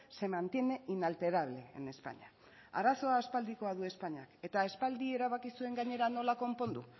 se mantiene inalterable en españa arazoa aspaldikoa du espainiak eta aspaldi erabaki zuen gainera nola konpondu